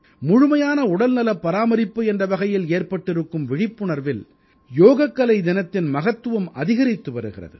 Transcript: முழுமையான உடல்நலப் பராமரிப்பு என்ற வகையில் ஏற்பட்டிருக்கும் விழிப்புணர்வில் யோகக்கலை தினத்தின் மகத்துவம் அதிகரித்து வருகிறது